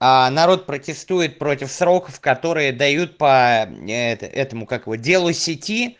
народ протестует против сроков которые дают по этому как его делу сети